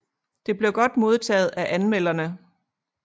Det blev godt modtaget af anmelderne